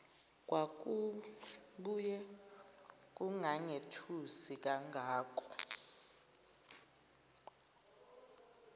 kwakubuye kungangethusi kangako